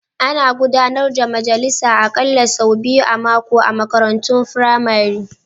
Ana gudanar da majalisa aƙalla sau biyu a mako a makarantun firamare.